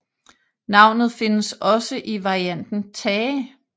Navnet findes også i varianten Thage